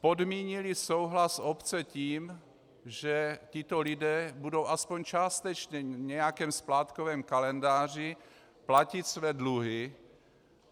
Podmínili souhlas obce tím, že tito lidé budou aspoň částečně v nějakém splátkovém kalendáři platit své dluhy.